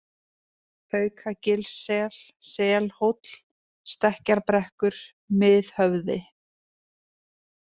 Haukagilssel, Selhóll, Stekkjarbrekkur, Miðhöfði